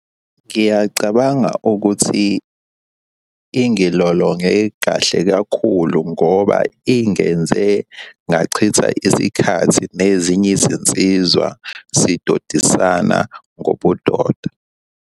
Ngiyacabanga ukuthi ingilolonge kahle kakhulu ngoba ingenze ngachitha isikhathi nezinye izinsizwa sidodisana ngobudoda.